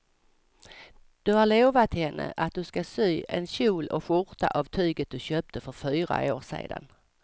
Du har lovat henne att du ska sy en kjol och skjorta av tyget du köpte för fyra år sedan.